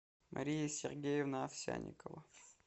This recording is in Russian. мария сергеевна овсянникова